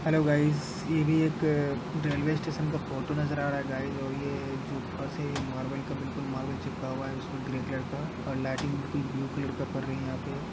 Hello guys यह भी एक रेलवे स्टेशन का फोटो नजर आ रहा है गाइस और यह जो फर्श है यह मार्बल का बिल्कुल मार्बल चिपका हुआ है | उसमें ग्रे कलर का और लाइटिंग बिल्कुल ब्लू कलर का पर रही है यहाँ पे ।